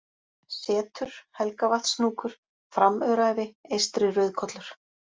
Setur, Helgavatnshnúkur, Framöræfi, Eystri-Rauðkollur